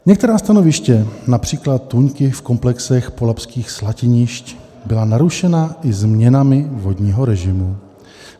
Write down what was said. Některá stanoviště, například tůňky v komplexech polabských slatinišť, byla narušena i změnami vodního režimu.